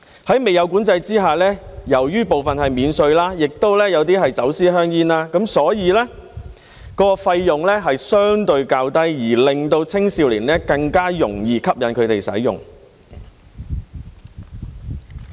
在未有管制之下，由於有部分是免稅的，亦有些是走私香煙，所以費用相對較低，更容易吸引青少年使用。